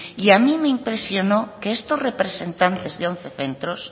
y a mí me impresionó que estos representantes de once centros